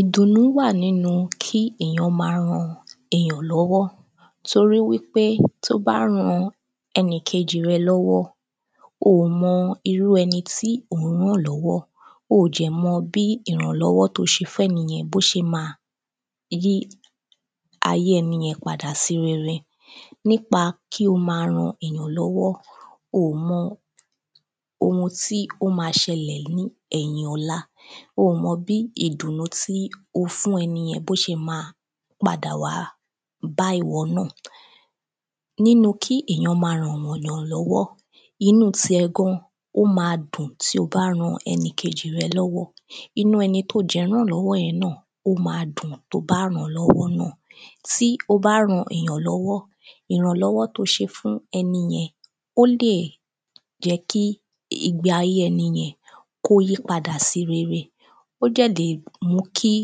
Ìdùnú wà nínú kí èyàn má ran èyàn lọ́wọ́ torí wípé tó bá ran ẹnìkejì rẹ lọ́wọ́ o mọ irú ẹni tí ò ń ràn lọ́wọ́. O dẹ̀ mọ bí ìrànlọ́wọ́ tó ṣe fẹ́ni yẹn bó ṣe má a yí ayé ẹni yẹn padà sí rere. Nípa kí o má ran èyàn lọ́wọ́ o mọ ohun tí ó ma ṣelẹ̀ ní ẹ̀yìn ọ̀la ó mọ bí ìdùnú tí o fún ẹniyẹn bó ṣe má a padà wá bá ìwọ náà. Nínú kí èyàn má ràn yàn lọ́wọ́ inú ti ẹ gan ó má dùn tí o bá ran ẹnì kejì rẹ lọ́wọ́ inú ẹni tó dẹ̀ ràn lọwọ́ yẹn náà ó má dùn tó bá rán lọwọ́ náà. Tí o bá rán èyàn lọwọ́ ìrànlọ́wọ́ tó ṣe fún ẹniyẹn ó lè jẹ́ kí ìgbé ayé ẹniyẹn kó yí padà sí rere. Ó dẹ̀ lè mú kí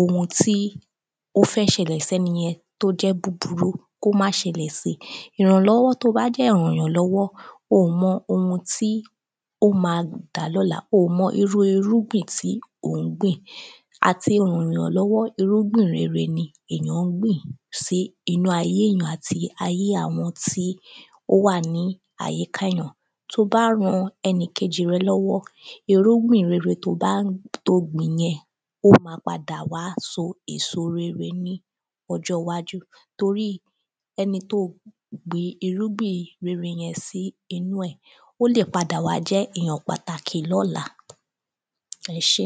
ohun tí ó fẹ́ ṣẹlẹ̀ sẹ́niyẹn tó jẹ́ búburú kó má ṣẹlẹ̀ sí. Ìrànlọ́wọ́ tó bá dẹ̀ ràn yàn lọ́wọ́ o mọ ohun tí ó má dà lọ́la o mọ irú irúgbìn tí ̀ ń gbìn. Àti ràn yàn lọ́wọ́ irúgbìn rere ni èyàn ń gbìn sínú ayé èyàn àti ayé àwọn tí ó wà ní àyíká èyàn. Tó bá ran ẹnìkejì rẹ lọ́wọ́ irúgbìn rere tó bá tó gbìn yẹn ó má pádà wá so èso rere ní ọjọ́ iwájú torí ẹni tó gbin irúgbìn rere sí inú ẹ̀ ó lè padà wá jẹ́ èyàn pàtàkì lọ́la ẹṣé.